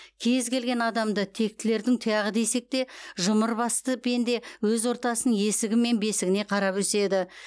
кез келген адамды тектілердің тұяғы десек те жұмыр басты пенде өз ортасының есігі мен бесігіне қарап өседі